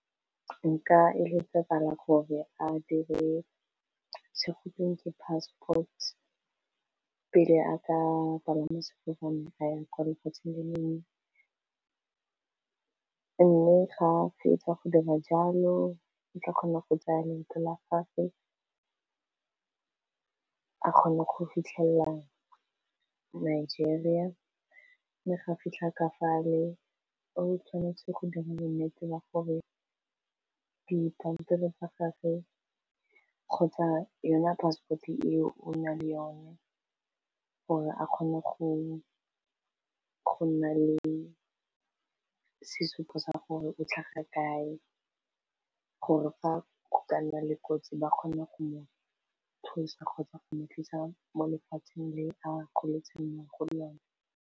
Nka eletsa lebala gore a dire certified passport pele a ka palama sefofane a ya kwa lefatshe le lengwe, mme ga fetsa go dira jalo o tla kgona go tsaya leeto la gagwe a kgone go fitlhelela Nigeria, mme ga fitlha ka fale o tshwanetse go dira bo nnete ba gore dipampiri tsa gagwe kgotsa yona passport eo o na le yone gore a kgone go nna le sesupo sa gore o tlhaga kae, gore fa go ka nna le kotsi ba kgone go mo thusa kgotsa go mo tlisa mo lefatsheng le a goletseng mo go lona.